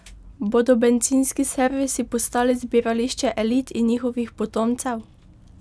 Bodo bencinski servisi postali zbirališče elit in njihovih potomcev?